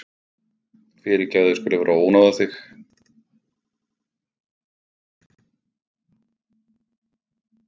Fyrirgefðu að ég skuli vera að ónáða þig.